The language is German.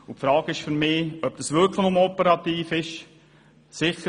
Ich frage mich, ob es sich wirklich nur um eine operative Angelegenheit handelt.